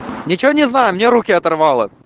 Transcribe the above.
ничего не знаю у меня руки оторвало